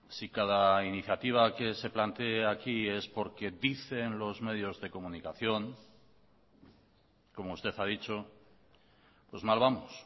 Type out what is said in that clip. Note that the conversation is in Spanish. si cada iniciativa que se plantee aquí es porque dicen los medios de comunicación como usted ha dicho pues mal vamos